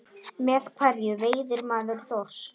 Með hverju veiðir maður þorsk?